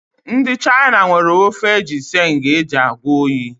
Ndị China nwere ofe ginseng eji agwọ oyi